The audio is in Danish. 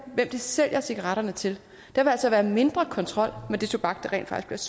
sælger cigaretterne til der vil altså være mindre kontrol med den tobak der rent faktisk